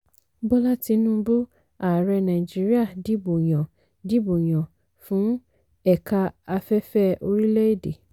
bola tinubu ààrẹ nàìjíríà dìbò yàn dìbò yàn fún ẹ̀ka afẹ́fẹ́ orílẹ̀ èdè.